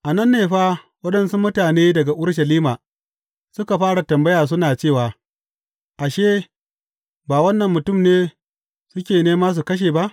A nan ne fa waɗansu mutane daga Urushalima suka fara tambaya suna cewa, Ashe, ba wannan mutum ne suke nema su kashe ba?